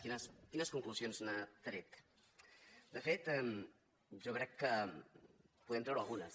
quines conclusions n’ha tret de fet jo crec que en podem treure algunes